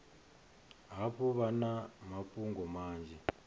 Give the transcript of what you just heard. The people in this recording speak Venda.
hafhu vha na mafhungo manzhi